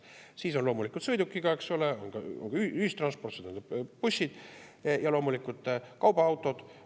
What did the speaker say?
Siis on loomulikult sõidukiga, on ka ühistransport, see tähendab bussid, ja loomulikult kaubaautod.